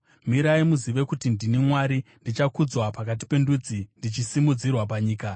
“Mirai, muzive kuti ndini Mwari; ndichakudzwa pakati pendudzi, ndichasimudzirwa panyika.”